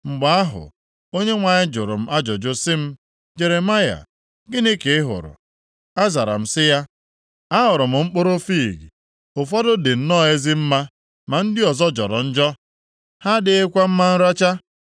Mgbe ahụ, Onyenwe anyị jụrụ m ajụjụ sị m, “Jeremaya, gịnị ka ị hụrụ?” Azara m sị ya, “Ahụrụ m mkpụrụ fiig. Ụfọdụ dị nnọọ ezi mma, ma ndị ọzọ jọrọ njọ. Ha adịghịkwa mma nracha.”